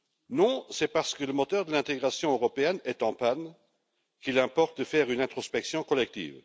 Non, c'est parce que le moteur de l'intégration européenne est en panne qu'il importe de faire une introspection collective.